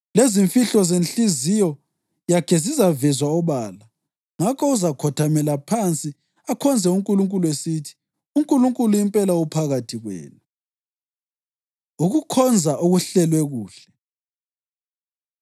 lezimfihlo zenhliziyo yakhe zizavezwa obala. Ngakho uzakhothamela phansi akhonze uNkulunkulu esithi, “UNkulunkulu impela uphakathi kwenu!” Ukukhonza Okuhlelwe Kuhle